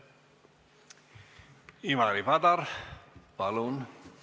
Ivari Padar, palun!